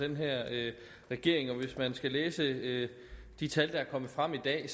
den her regering og hvis man skal læse de tal der er kommet frem i dag